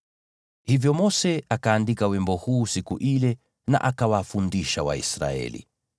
Hivyo Mose akaandika wimbo huu siku ile na akawafundisha Waisraeli.